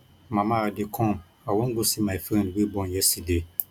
mama i dey come i wan go see my friend wey born yesterday